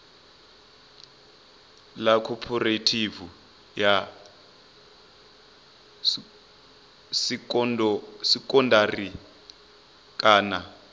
ḽa khophorethivi ya sekondari kana